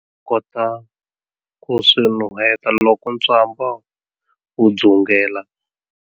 Kota ku swi nuheta loko ntswamba wu dzungela?